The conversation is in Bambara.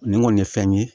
Nin kɔni ye fɛn ye